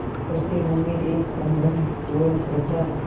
उसके मन में एक संभ्रमपूर्ण श्रद्धा